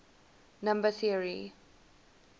number theory